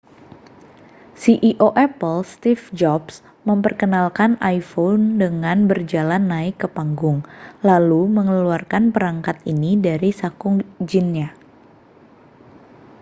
ceo apple steve jobs memperkenalkan iphone dengan berjalan naik ke panggung lalu mengeluarkan perangkat ini dari saku jinnya